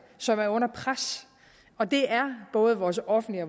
som er under pres og det er både vores offentlige